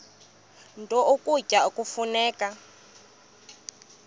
nto ukutya kufuneka